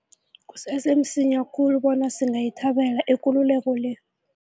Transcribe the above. Kusese msinya khulu bona singayithabela ikululeko le.